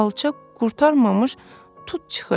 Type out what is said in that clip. Alça qurtarmamış tut çıxır.